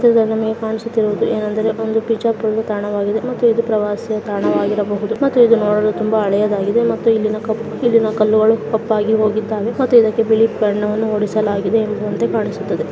ಇಲ್ಲಿ ನಮಗೆ ಕಾಣಿಸುತ್ತಿರುವುದು ಒಂದು ಬಿಜಾಪುರದ ತಾಣವಾಗಿದೆ ಇದು ಪ್ರವಾಸಿಯ ತಾಣವಾಗಿದೆ ಮತ್ತೆ ಇದು ನೋಡಿದ್ರೆ ತುಂಬಾ ಹಳೆಯದಾಗಿದೆ ಮತ್ತು ಇಲ್ಲಿನ ಕಲ್ಲುಗಳು ತುಂಬಾ ಕಪ್ಪಾಗಿ ಹೋಗಿದ್ದಾವೆ. ಮತ್ತೆ ಇದಕ್ಕೆ ಬಣ್ಣವನ್ನು ಹೊಡಿಸಲಾಗಿದೆ ಎಂಬುವಂತೆ ಕಾಣುತ್ತದೆ.